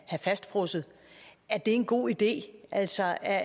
fastfrosset er det en god idé altså er